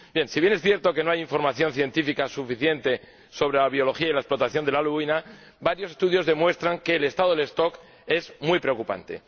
Si bien es cierto que no hay información científica suficiente sobre la biología y la explotación de la lubina, varios estudios demuestran que el estado de las poblaciones es muy preocupante.